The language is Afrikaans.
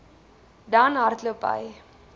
dan hardloop hy